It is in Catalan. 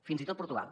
fins i tot portugal